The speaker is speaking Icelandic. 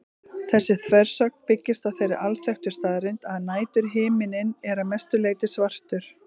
Þessi þversögn byggist á þeirri alþekktu staðreynd að næturhiminninn er að mestu leyti svartur.